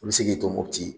I bɛ se k'i to mopti